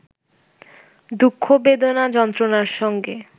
দুঃখ-বেদনা-যন্ত্রণার সঙ্গে